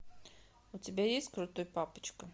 у тебя есть крутой папочка